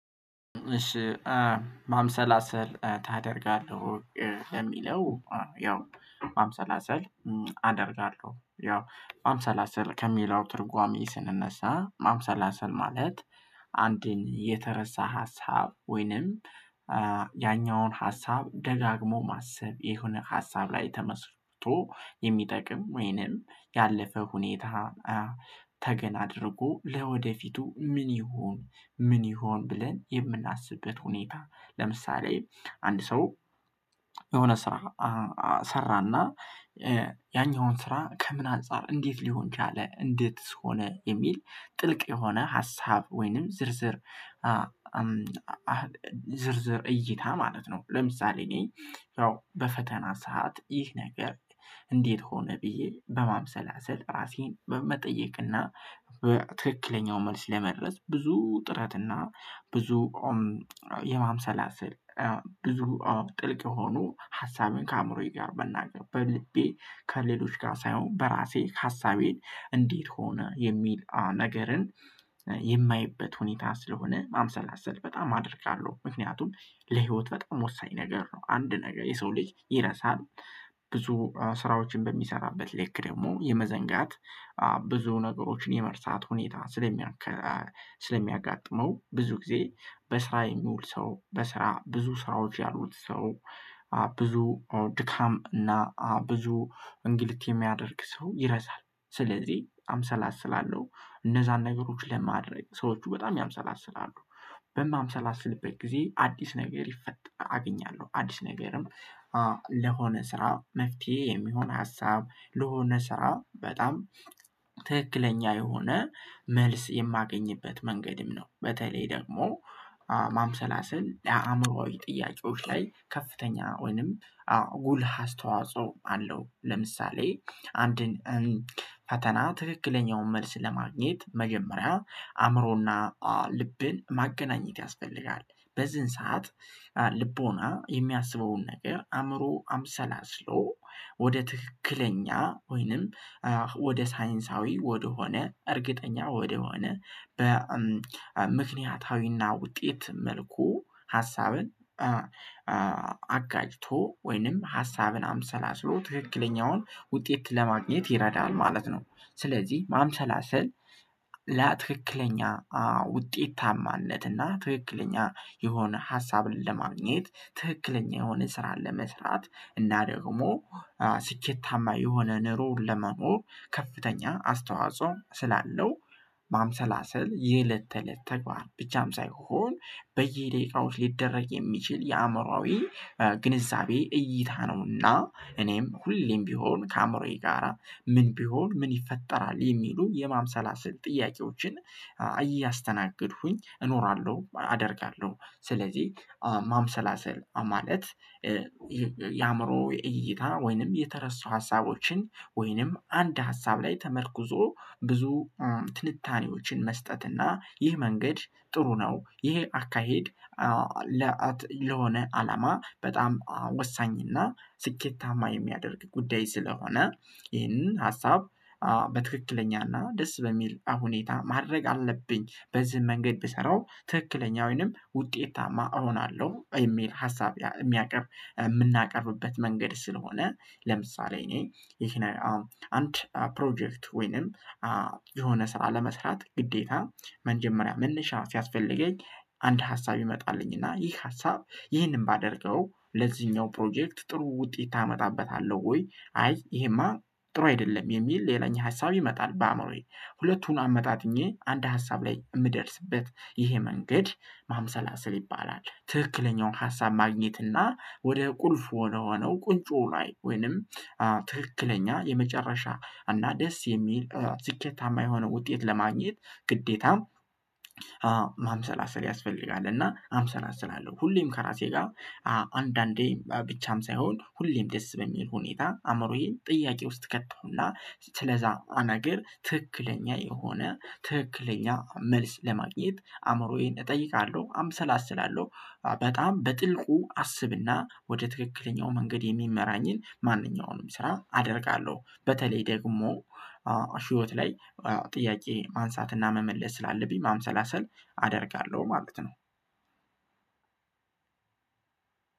እሺ ማምሰላሰል ታደርጋለህ ወይ ለሚለው? ያው ማምሰላሰል አደርጋለሁ ያው ማምሰላሰል ከሚለው ትርጓሜ ስንነሳ ማምሰላሰል ማለት አንድን የተረሳ ሀሳብ ወይንም ያኛውን ሀሳብ ደጋግሞ ማሰብ የሆነ ሀሳብ ላይ ተመስጦ የሚጠቅም ወይንም ያለፈ ሁኔታ ተገን አድርጎ ለወደፊቱ ምን ይሆን ምን ይሁን ብለን የምናስብበት ሁኔታ ለምሳሌ አንድ ሰው የሆነ ስራ ሰራና ያኛውን ስራ ከምን አንፃር እንዴት ሊሆን ቻለ እንዴትስ ሆነ የሚል ጥልቅ የሆነ ሀሳብ ወይንም ዝርዝር እይታ ማለት ነው። ለምሳሌ እኔ ያው በፈተና ሰዓት ይህ ነገር እንዴት ሆነ ብዬ በማምሰላሰል ራሴን በመጠየቅ እና ትክክለኛው መልስ ለመድረስ ብዙ ጥረት እና ብዙ ቆም የማምሰላሰል ብዙ ጥልቅ የሆኑ ሀሳብን ከአእምሮዬ ጋር መናገር በልቤ ከሌሎች ጋር ሳይሆን በራሴ ሀሳቤን እንዴት ሆነ የሚል ነገርን የማይበት ሁኔታ ስለሆነ ማምሰላሰል በጣም አደርጋለሁ። ምክንያቱም ለህይወት በጣም ወሳኝ ነገር ነው። አንድ ነገር የሰው ልጅ ይረሳል። ብዙ ስራዎችን በሚሰራበት ልክ ደግሞ የመዘንጋት ብዙ ነገሮችን የመርሳት ሁኔታ ስለሚያጋጥመው ብዙ ጊዜ በስራ የሚውል ሰው በስራ ብዙ ስራዎች ያሉት ሰው ብዙ ድካም እና ብዙ እንግልት የሚያደርግ ሰው ይረሳል። ስለዚህ አምሰላስላለሁ እነዛን ነገሮች ለማድረግ ሰዎቹ በጣም ያምሰላስላሉ። በማምሰላስልበት ጊዜ አዲስ ነገር ይፈጠራል አገኛለሁ አዲስ ነገርም ለሆነ ስራ መፍትሄ የሚሆን ሀሳብ ለሆነ ስራ በጣም ትክክለኛ የሆነ መልስ የማገኝበት መንገድም ነው። በተለይ ደግሞ ማምሰላሰል የአእምሮአዊ ጥያቄዎች ላይ ከፍተኛ ወይንም አዎ ጉልህ አስተዋጽኦ አለው። ለምሳሌ አንድን ፈተና ትክክለኛውን መልስ ለማግኘት መጀመሪያ አእምሮ እና ልብን ማገናኘት ያስፈልጋል። በዚህን ሰዓት ልቦና የሚያስበውን ነገር አእምሮ አምሰላስሎ ወደ ትክክለኛ ወይንም ወደ ሳይንሳዊ ወደሆነ እርግጠኛ ወደሆነ በምክንያታዊ እና ውጤት መልኩ ሀሳብን አጋጭቶ ወይንም ሀሳብን አምሰላስሎ ትክክለኛውን ውጤት ለማግኘት ይረዳል ማለት ነው። ስለዚህ ማምሰላሰል ለትክክለኛ ውጤታማነት እና ትክክለኛ የሆነ ሀሳብን ለማግኘት ትክክለኛ የሆነ ስራን ለመስራት እና ደግሞ ስኬታማ የሆነ ኑሮ ለመኖር ከፍተኛ አስተዋጽኦ ስላለው ማምሰላሰል የእለት ተእለት ተግባር ብቻም ሳይሆን በየደቂቃዎች ሊደረግ የሚችል የአእምሮአዊ ግንዛቤ እይታ ነው። እና እኔም ሁሌም ቢሆን ከአእምሮዬ ጋራ ምን ቢሆን ምን ይፈጠራል የሚሉ የማምሰላሰል ጥያቄዎችን እያስተናገድኩኝ እኖራለሁ አደርጋለሁ። ስለዚህ ማምሰላሰል ማለት የአእምሮ የእይታ ወይንም የተረሱ ሀሳቦችን ወይንም አንድ ሀሳብ ላይ ተመርኩዞ ብዙ ትንታኔዎችን መስጠት እና ይህ መንገድ ጥሩ ነው። ይሄ አካሄድ ለሆነ አላማ በጣም ወሳኝ እና ስኬታማ የሚያደርግ ጉዳይ ስለሆነ ይሄንን ሀሳብ በትክክለኛ እና ደስ በሚል ሁኔታ ማድረግ አለብኝ በዚህ መንገድ ብሰራው ትክክለኛ ወይንም ውጤታማ እሆናለሁ የሚል ሀሳብ የሚያቀርብ የምናቀርብበት መንገድ ስለሆነ። ለምሳሌ እኔ ይሄን አሁን አንድ ፕሮጀክት ወይንም የሆነ ስራ ለመስራት ግዴታ መጀመሪያ መነሻ ሲያስፈልገኝ አንድ ሀሳብ ይመጣልኝ እና ይህ ሀሳብ ይህንን ባደርገው ለዚህኛው ፕሮጀክት ጥሩ ውጤት አመጣበታለሁ ወይ አይ ይሄማ ጥሩ አይደለም የሚል ሌላኛው ሀሳብ ይመጣል በአእምሮዬ ሁለቱን አመጣጥኜ አንድ ሀሳብ ላይ የምደርስበት ይሄ መንገድ ማምሰላሰል ይባላል። ትክክለኛውን ሀሳብ ማግኘት እና ወደ ቁልፍ ወደ ሆነው ቁንጮ ላይ ወይንም ትክክለኛ የመጨረሻ እና ደስ የሚል ስኬታማ የሆነ ውጤት ለማግኘት ግዴታ ማምሰላሰል ያስፈልጋል። እና አምሰላሰላለሁ ሁሌም ከራሴ ጋር አንዳንዴ ብቻም ሳይሆን ሁሌም ደስ በሚል ሁኔታ አእምሮዬን ጥያቄ ውስጥ እከተው እና ስለዛ ነገር ትክክለኛ የሆነ ትክክለኛ መልስ ለማግኘት አእምሮዬን እጠይቃለሁ አምሰላስላለሁ። በጣም በጥልቁ አስብ እና ወደ ትክክለኛው መንገድ የሚመራኝን ማንኛውንም ስራ አደርጋለሁ። በተለይ ደግሞ ህይወት ላይ ጥያቄ ማንሳት እና መመለስ ስላለብኝ ማምሰላሰል አደርጋለሁ ማለት ነው።